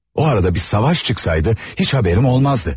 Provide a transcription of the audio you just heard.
O arada bir savaş çıxsaydı heç xəbərim olmazdı.